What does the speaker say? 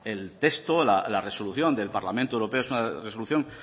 el texto del parlamento europea es una resolución